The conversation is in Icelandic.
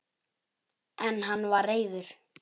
En hann var reiður!